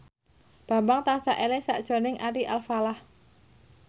Bambang tansah eling sakjroning Ari Alfalah